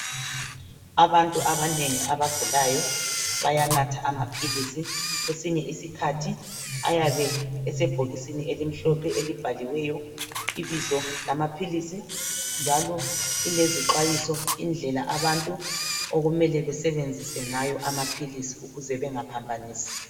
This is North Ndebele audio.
Abantu abanengi abagulayo bayanatha amaphilisi kwesinye isikhathi ayabe esebhokisini elimhlophe elibhaliweyo ibizo lamaphilisi njalo lilezixwayiso indlela abantu okumele besebenzisa ngayo amaphilisi ukuze bengaphambanisi.